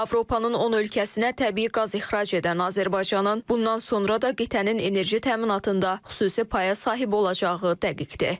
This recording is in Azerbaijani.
Avropanın 10 ölkəsinə təbii qaz ixrac edən Azərbaycanın bundan sonra da qitənin enerji təminatında xüsusi paya sahib olacağı dəqiqdir.